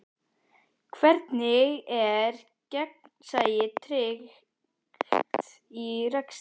Hvernig er gegnsæi tryggt í rekstri?